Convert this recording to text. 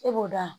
E b'o da